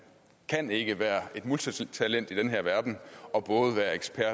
kan ikke være et multitalent i den her verden og være ekspert